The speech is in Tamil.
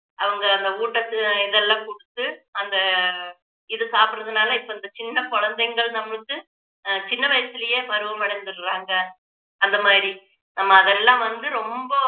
அவங்க அந்த ஊட்டத்து இதெல்லாம் கொடுத்து அந்த இது சாப்பிடுறதுனால இப்போ இது சின்ன குழந்தைங்கள் நம்மளுக்கு சின்ன வயசிலேயே பருவம் அடைஞ்சிடறாங்க அந்த மாதிரி நம்ம அதெல்லாம் வந்து ரொம்ப